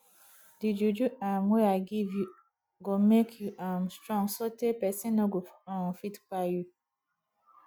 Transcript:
di juju um wey i give you go make you um strong sotee pesin no go um fit kpai you